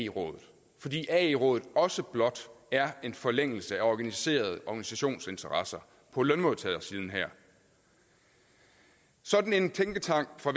rådet fordi ae rådet også blot er en forlængelse af organiserede organisationsinteresser på lønmodtagersiden her sådan en tænketank fra